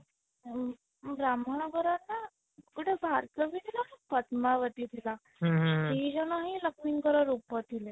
ଆଉ ବ୍ରାହ୍ମଣ ଘର ର ଗୋଟେ ଭାର୍ଗବୀ ଥିଲା ପଦ୍ମାବତୀ ଥିଲା ଦିଜଣ ହିଁ ଲକ୍ଷ୍ମୀ ଙ୍କର ରୂପ ଥିଲେ